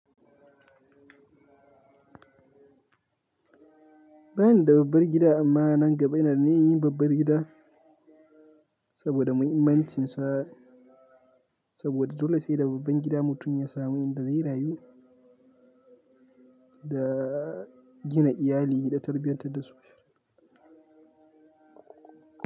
Banida babbar gida amma nan gaba ina da ninyar yin babbar gida saboda muhimmancinsa. Saboda dole saida babban gida mutum ya samu inda zai rayu, da gina iyali da tarbiyartar dasu.